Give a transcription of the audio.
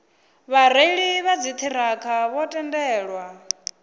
vhareili vha dziṱhirakha vho tendelwa